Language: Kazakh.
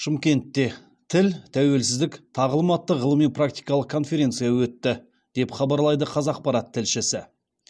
шымкентте тіл тәуелсіздік тағылым атты ғылыми практикалық конференция өтті деп хабарлайды қазақпарат тілшісі